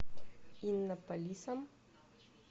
иннополисом